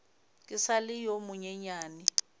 ke sa le yo monyenyane